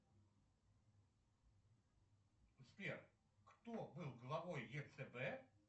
сбер кто был главой ецб